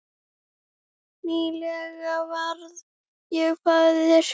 Nýlega varð ég faðir.